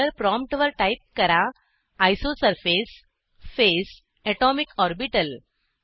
dollar प्रॉम्प्टवर type करा isosurface phase atomic orbital